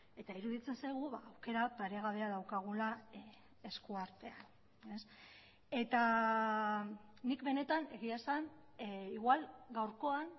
eta iruditzen zaigu aukera paregabea daukagula esku artean eta nik benetan egia esan igual gaurkoan